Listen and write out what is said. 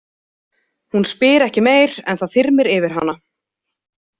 Hún spyr ekki meir, en það þyrmir yfir hana.